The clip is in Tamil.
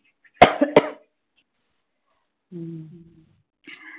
உம் உம்